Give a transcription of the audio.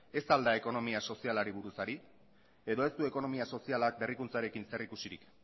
ez al da ekonomia sozialari buruz ari edo ez du ekonomia sozialak berrikuntzarekin zerikusirik